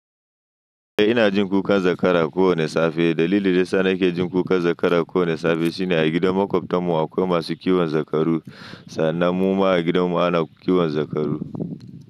Eh ina jin kukan zakara kowane safe. Dalilin da yana sa nake jin kukan zakara kowane safe shine a gidan makwabtan mu akwai masu kiwon zakaru sannan mu ma a gidan mu ana kiwon zakaru.